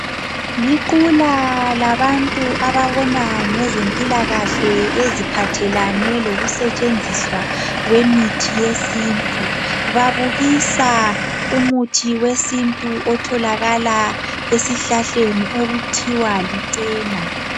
Liqula labantu ababona ngezempilakahle eziphathelane lokusetshenziswa kwemithi yesintu. Babukisa umuthi wesintu otholakala esihlahleni okuthiwa licena.